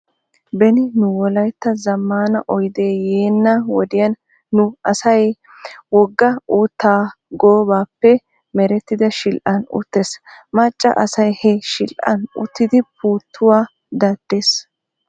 Beni nu wolaytta zamaana oydee yeena wodiyaan nu asay wogaan uutta gobbappe merettida shidhdhan uttees. Macca asay he shidhdhan uttidi puuttuwaa daddees.